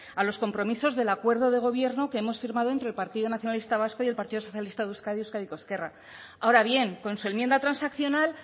a los compromisos del acuerdo de gobierno que hemos firmado entre el partido nacionalista vasco y el partido socialista de euskadi euskadiko ezkerra ahora bien con su enmienda transaccional